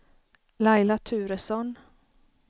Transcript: Laila Turesson